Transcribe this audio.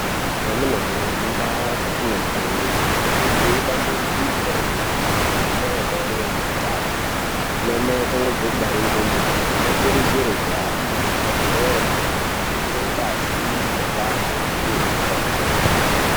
Amunawe mu ndau dzatinobveyo inenge jee dambe igwinyiso re mene mene ana amai ane ndani ana mai achangobve kubare ndumure ano kurudzirwe kuhambe ku zvibhedhleri kuno vhenekwe ngazi mu kuhlani neku pihwe mutombo.